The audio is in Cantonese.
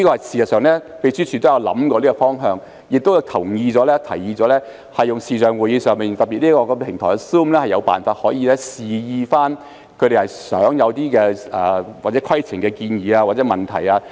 事實上，秘書處也有考慮這個方向，也同意和提議在視像會議上，特別是在 Zoom 這個平台上，可以有辦法示意他們擬提出有關規程的建議或問題。